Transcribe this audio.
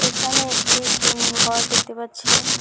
এখানে একটি জিম ঘর দেখতে পাচ্ছি।